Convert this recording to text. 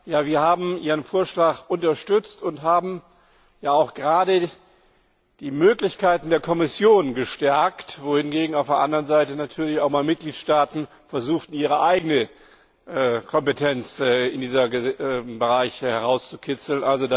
Ja, wir haben Ihren Vorschlag unterstützt und haben ja auch gerade die Möglichkeiten der Kommission gestärkt, wohingegen auf der anderen Seite natürlich auch Mitgliedstaaten versucht haben, ihre eigene Kompetenz in diesem Bereich herauszukitzeln.